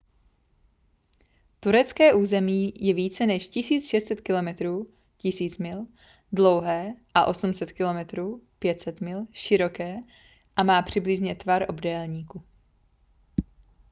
turecké území je více než 1 600 km 1 000 mil dlouhé a 800 km 500 mil široké a má přibližně tvar obdélníku